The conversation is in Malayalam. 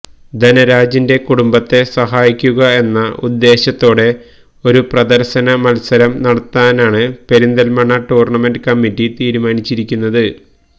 ധനരാജിന്റെ കുടുംബത്തെ സഹായിക്കുക എന്ന ഉദ്ദേശത്തോടെ ഒരു പ്രദര്ശന മത്സരം നടത്താനാണ് പെരിന്തല്മണ്ണ ടൂര്ണമെന്റ് കമ്മിറ്റി തീരുമാനിച്ചിരിക്കുന്നത്